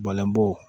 Bɔlɔn bɔ